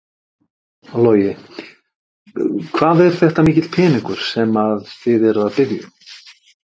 Logi: Hvað er þetta mikill peningur sem þið eruð að biðja um?